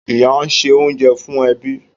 Ìyá ń ṣe oúnjẹ fún ẹbí.